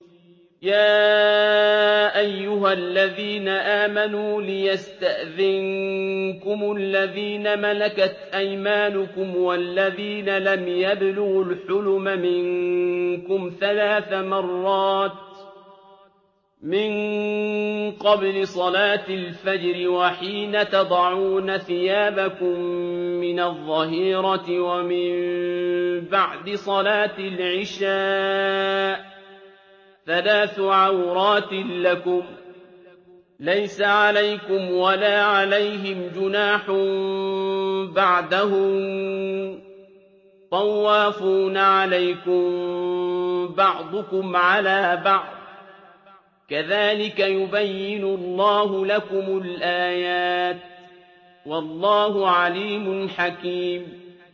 يَا أَيُّهَا الَّذِينَ آمَنُوا لِيَسْتَأْذِنكُمُ الَّذِينَ مَلَكَتْ أَيْمَانُكُمْ وَالَّذِينَ لَمْ يَبْلُغُوا الْحُلُمَ مِنكُمْ ثَلَاثَ مَرَّاتٍ ۚ مِّن قَبْلِ صَلَاةِ الْفَجْرِ وَحِينَ تَضَعُونَ ثِيَابَكُم مِّنَ الظَّهِيرَةِ وَمِن بَعْدِ صَلَاةِ الْعِشَاءِ ۚ ثَلَاثُ عَوْرَاتٍ لَّكُمْ ۚ لَيْسَ عَلَيْكُمْ وَلَا عَلَيْهِمْ جُنَاحٌ بَعْدَهُنَّ ۚ طَوَّافُونَ عَلَيْكُم بَعْضُكُمْ عَلَىٰ بَعْضٍ ۚ كَذَٰلِكَ يُبَيِّنُ اللَّهُ لَكُمُ الْآيَاتِ ۗ وَاللَّهُ عَلِيمٌ حَكِيمٌ